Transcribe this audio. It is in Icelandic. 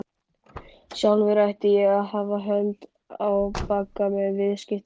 Sjálfur ætti hann að hafa hönd í bagga með viðskiptunum.